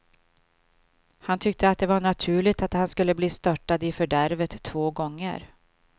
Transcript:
Han tyckte att det var naturligt att han skulle bli störtad i fördärvet två gånger.